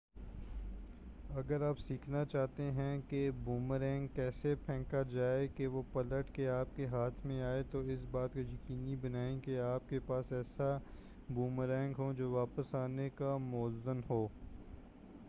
اگر آپ سیکھنا چاہتے ہیں کہ بومرینگ کیسے پھینکا جائے کہ وہ پلٹ کر آپ کے ہاتھ میں آئے تو اس بات کو یقینی بنائیں کہ آپ کے پاس ایسا بومرینگ ہو جو واپس آنے کے موزوں ہو